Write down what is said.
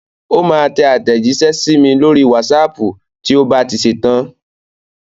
Ó máa tẹ àtẹ̀jíṣẹ́ sí mi lórí wásaàpù tí ó bá ti ṣetán.